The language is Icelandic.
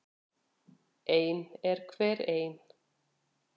Ein er hver ein.